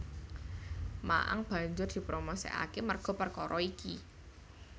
Ma Ang banjur dipromosikake merga perkara iki